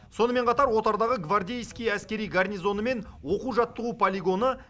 сонымен қатар отардағы гвардейский әскери гарнизоны мен оқу жаттығу полигоны